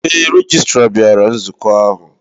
Ee, Rejistra bịara nzukọ ahụ.